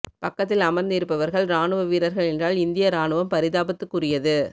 பக்கத்தில் அமர்ந்து இருப்பவர்கள் ராணுவ வீரர்கள் என்றால் இந்தியா ராணுவம் பரிதாபத்துக்குரியது